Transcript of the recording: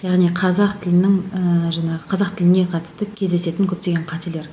яғни қазақ тілінің ііі жаңағы қазақ тіліне қатысты кездесетін көптеген қателер